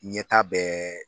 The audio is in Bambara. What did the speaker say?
Ɲɛtaa bɛ